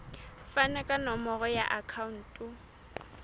fane ka nomoro ya akhauntu